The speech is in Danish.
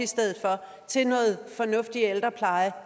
til noget fornuftig ældrepleje